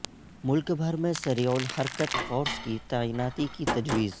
ملک بھر میں سریع الحرکت فورس کی تعیناتی کی تجویز